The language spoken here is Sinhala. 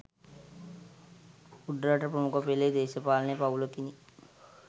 උඩරට ප්‍රමුඛ පෙලේ දේශපාලන පවුලකිනි